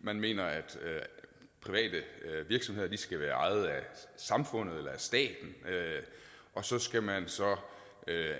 man mener at private virksomheder skal være ejet af samfundet eller af staten og så skal man så